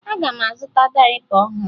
Aga m azụta dayịpa ọhụrụ